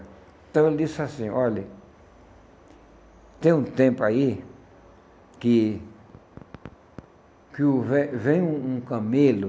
Então ele disse assim, olhe, tem um tempo aí que que o ve vem um um camelo